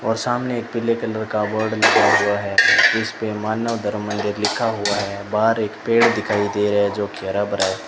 और सामने एक पीले कलर का बोर्ड लगा हुआ है उसपे मानव धर्मेंद्र लिखा हुआ है बाहर एक पेड़ दिखाई दे रहा है जोकि हरा भरा है।